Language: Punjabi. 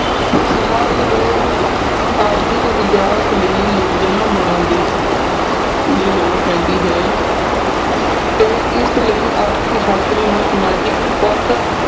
ਸਮਾਜ ਦੇ ਆਰਥਿਕ ਵਿਕਾਸ ਲਈ ਯੋਜਨਾ ਬਣਾਓਦੀ ਦੀ ਲੋੜ ਪੈਂਦੀ ਹੈ ਤੇ ਇਸ ਲਈ ਆਰਥਿਕ ਸ਼ਾਸਤਰੀ ਨੂੰ ਸਮਾਜਿਕ ਪੱਖ